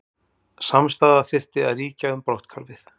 Samstaða þyrfti að ríkja um brotthvarfið